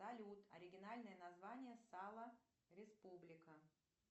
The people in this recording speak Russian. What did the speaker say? салют оригинальное название сала республика